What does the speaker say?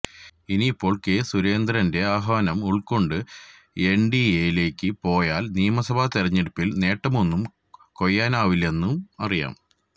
ഇനിയിപ്പോൾ കെ സുരേന്ദ്രന്റെ ആഹ്വാനം ഉൾക്കൊണ്ടു എൻ ഡി എ യിലേക്ക് പോയാൽ നിയമസഭാ തിരെഞ്ഞെടുപ്പിൽ നേട്ടമൊന്നും കൊയ്യാനാവില്ലെന്നും അറിയാം